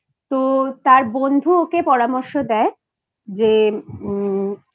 তো তার বন্ধু ওকে পরামর্শ দেয় যে